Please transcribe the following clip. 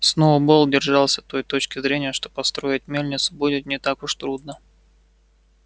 сноуболл держался той точки зрения что построить мельницу будет не так уж трудно